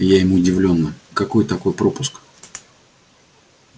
я им удивлённо какой такой пропуск